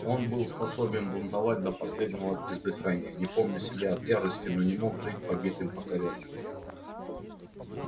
он был способен бунтовать до последнего издыхания не помня себя от ярости но не мог жить побитым покорённым